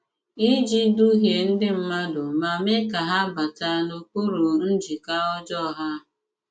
Ìji dǔhìè ndị mmàdù mà mèè ka hà bàtà n’okpùrù njìkà ọ̀jọọ ha!